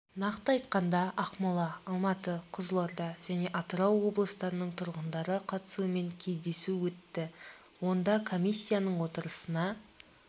нақты айтқанда ақмола алматы қызылорда және атырау облыстарының тұрғындары қатысуымен кездесу өтті онда комиссияның отырысына